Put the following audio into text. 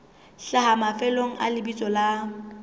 hlaha mafelong a lebitso la